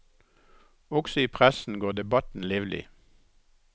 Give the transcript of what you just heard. Også i pressen går debatten livlig.